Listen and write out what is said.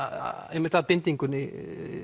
einmitt að bindingunni